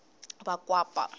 vakwapa